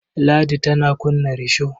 Ladi tana kunna risho.